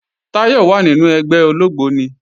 Táyọ̀ wà nínu ẹgbẹ́ ológbóni